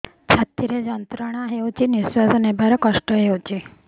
ଛାତି ରେ ଯନ୍ତ୍ରଣା ହେଉଛି ନିଶ୍ଵାସ ନେବାର କଷ୍ଟ ହେଉଛି